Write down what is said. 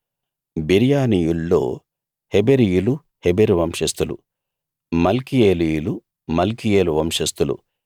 బెరీయానీయుల్లో హెబెరీయులు హెబెరు వంశస్థులు మల్కీయేలీయులు మల్కీయేలు వంశస్థులు